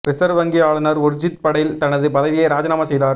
reserve வங்கி ஆளுநர் உர்ஜித் படேல் தனது பதவியை ராஜினாமா செய்தார்